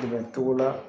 Dɛmɛ togo la